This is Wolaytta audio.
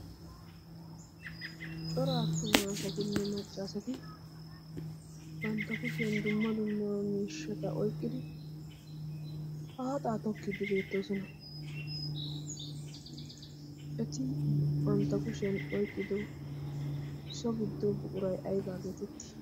coraa tuma asafinne maccaasati bantta kushiyan dumma dumma miishshata oyqqidi haaxaa tokkiddi beettoosona. eti bantta kushiyan oiqqido sobiddo buqurai aibaa geetetti?